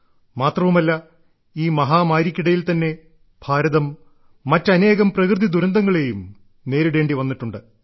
മാത്രമവുമല്ല ഈ മഹാമാരിയ്ക്കിടയിൽ തന്നെ ഭാരതം മറ്റനേകം പ്രകൃതി ദുരന്തങ്ങളെയും നേരിടേണ്ടി വന്നിട്ടുണ്ട്